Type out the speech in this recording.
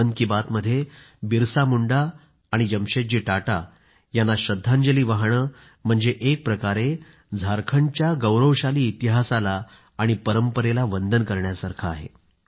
मन की बात मध्ये बिरसा मुंडा आणि जमशेदजी टाटा यांना श्रद्धांजली वाहणं म्हणजे एक प्रकारे झारखंडच्या गौरवशाली इतिहासाला आणि परंपरेला वंदन करण्यासारखं आहे